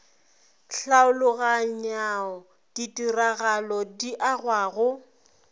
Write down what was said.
tlhaologanyao ditiragalo di agwa go